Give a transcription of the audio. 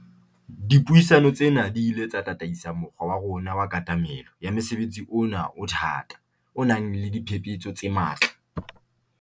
Dipuisano tsena di ile tsa tataisa mokgwa wa rona wa katamelo ya mosebetsi ona o o thata o nang le diphephetso tse matla.